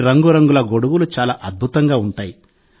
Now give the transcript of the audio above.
ఈ రంగురంగుల గొడుగులు చాలా అద్భుతంగా ఉంటాయి